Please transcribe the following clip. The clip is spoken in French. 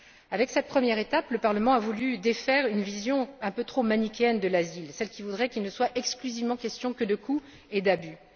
Avec cette première étape, le Parlement a voulu défaire une vision un peu trop manichéenne de l'asile, à savoir celle qui voudrait qu'il soit exclusivement question de coûts et d'abus.